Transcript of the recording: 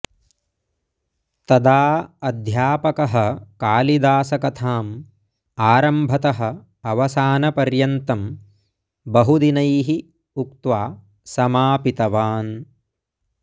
तदा अध्यापकः कालिदासकथां आरम्भतः अवसानपर्यन्तं बहुदिनैः उक्त्वा समापितवान्